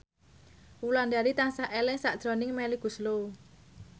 Wulandari tansah eling sakjroning Melly Goeslaw